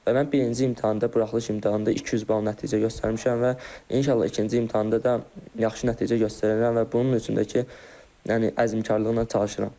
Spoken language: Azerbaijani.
Və mən birinci imtahanda, buraxılış imtahanında 200 bal nəticə göstərmişəm və inşallah ikinci imtahanda da yaxşı nəticə göstərərəm və bunun üçün də ki, yəni əzmkarlıqla çalışıram.